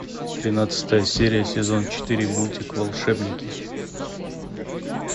тринадцатая серия сезон четыре мультик волшебники